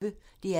DR P1